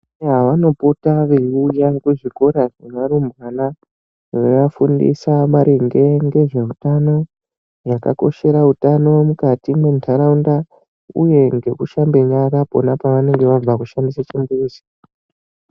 Yaa vanopota veuye kuzvikora zveva rumbwana, veiva fundisa maringe ngezve utano, zvakakoshera utano mukati mendaraunda uye ngeku shambe nyara pona pano vabve kushandise chimbuzi.